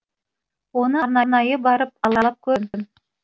оны арнайы барып аралап көрдім